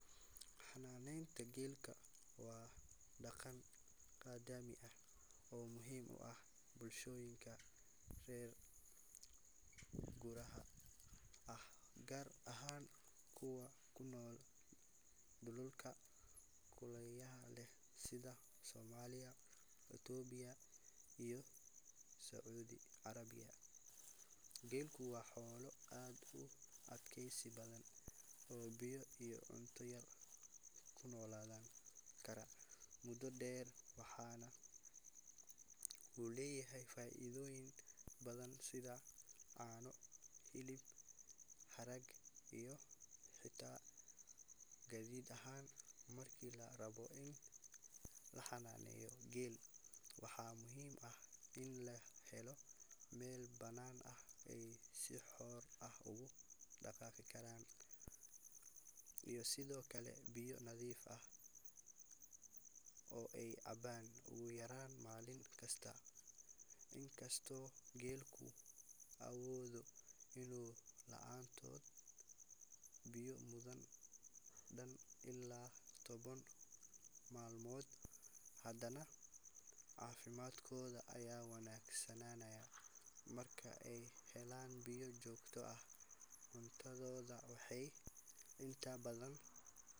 Xanaaneynta geelka waa dhaqan qadiimi ah oo muhiim u ah bulshooyinka reer guuraaga ah, gaar ahaan kuwa ku nool dhulalka kulaylaha leh sida Soomaaliya, Itoobiya iyo Sacuudi Carabiya. Geelku waa xoolo aad u adkaysi badan oo biyo iyo cunto yar ku noolaan kara muddo dheer, waxaana uu leeyahay faa’iidooyin badan sida caano, hilib, harag, iyo xitaa gaadiid ahaan. Marka la rabo in la xanaaneeyo geel, waxaa muhiim ah in la helo meel bannaan oo ay si xor ah ugu dhaqaaqi karaan, iyo sidoo kale biyo nadiif ah oo ay cabbaan ugu yaraan maalin kasta. Inkastoo geelku awoodo inuu la’aado biyo muddo dhan ilaa toban maalmood, hadana caafimaadkooda ayaa wanaagsanaanaya marka ay helaan biyo joogto ah. Cuntadooda waxay inta badanXanaaneynta geelka waa dhaqan qadiimi ah oo muhiim u ah bulshooyinka reer guuraaga ah, gaar ahaan kuwa ku nool dhulalka kulaylaha leh sida Soomaaliya, Itoobiya iyo Sacuudi Carabiya. Geelku waa xoolo aad u adkaysi badan oo biyo iyo cunto yar ku noolaan kara muddo dheer, waxaana uu leeyahay faa’iidooyin badan sida caano, hilib, harag, iyo xitaa gaadiid ahaan. Marka la rabo in la xanaaneeyo geel, waxaa muhiim ah in la helo meel bannaan oo ay si xor ah ugu dhaqaaqi karaan, iyo sidoo kale biyo nadiif ah oo ay cabbaan ugu yaraan maalin kasta. Inkastoo geelku awoodo inuu la’aado biyo muddo dhan ilaa toban maalmood, hadana caafimaadkooda ayaa wanaagsanaanaya marka ay helaan biyo joogto ah. Cuntadooda waxay inta badaan.